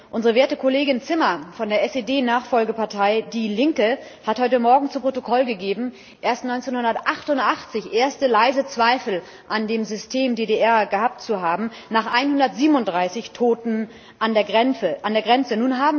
Unsere werte Kollegin Zimmer von der SED Nachfolgepartei Die Linke hat heute Morgen zu Protokoll gegeben, erst 1988 erste leise Zweifel an dem System DDR gehabt zu haben, nach 137 Toten an der Grenze.